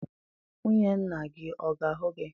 Nwunye nna gị ọ ga-ahụ gị?